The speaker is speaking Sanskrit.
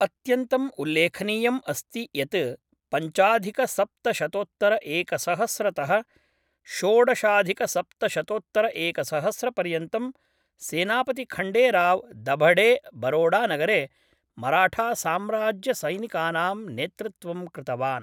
अत्यन्तम् उल्लेखनीयम् अस्ति यत् पञ्चाधिकसप्तशतोत्तरएकसहस्रतः षोडशाधिकसप्तशतोत्तरएकसहस्रपर्यन्तं सेनापतिखण्डेराव दभडे बरोडानगरे मराठासाम्राज्यसैनिकानां नेतृत्वं कृतवान् ।